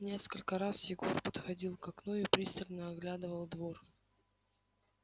несколько раз егор подходил к окну и пристально оглядывал двор